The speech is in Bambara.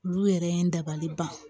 Olu yɛrɛ ye n dabali ban